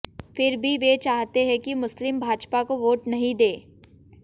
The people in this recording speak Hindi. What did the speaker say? फिर भी वे चाहते हैं कि मुस्लिम भाजपा को वोट नहीं दें